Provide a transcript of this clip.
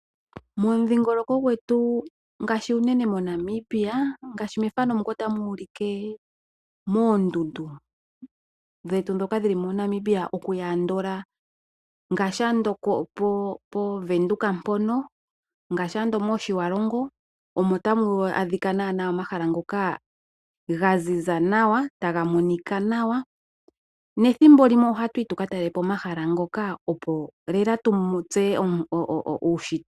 Momudhingoloko gwetu ngaashi uunene moNamibia ngaashi methano muka otamu ulike moondundu dhetu dhoka dhili moNamibia okuya andola ngaashi ando pOvenduka mpono ngaashi ando mOtjiwarongo omo tamu adhika naanaa omahala ngoka ga ziza nawa taga monika nawa nethimbo limwe ohatu yi tu ka talelepo omahala ngoka opo lela tu tseye